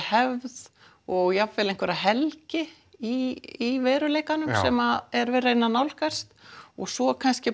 hefð og jafnvel einhverja helgi í veruleikanum sem er verið að reyna að nálgast og svo kannski